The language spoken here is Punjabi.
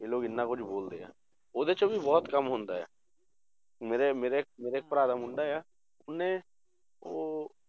ਕਿ ਲੋਕ ਇੰਨਾ ਕੁੱਝ ਬੋਲਦੇ ਆ, ਉਹਦੇ 'ਚ ਵੀ ਬਹੁਤ ਕੰਮ ਹੁੰਦਾ ਆ, ਮੇਰੇ ਮੇਰੇ ਮੇਰੇ ਭਰਾ ਦਾ ਮੁੰਡਾ ਆ, ਉਹਨੇ ਉਹ